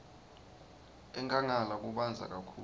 enkhangala kubandza kakhulu